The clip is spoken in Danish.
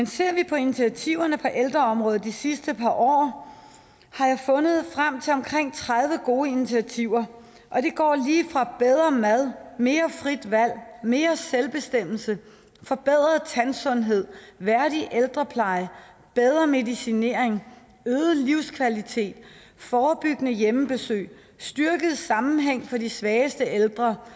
ser vi på initiativerne på ældreområdet de sidste par år har jeg fundet frem til omkring tredive gode initiativer og mad mere frit valg mere selvbestemmelse forbedret tandsundhed værdig ældrepleje bedre medicinering øget livskvalitet forebyggende hjemmebesøg styrket sammenhæng for de svageste ældre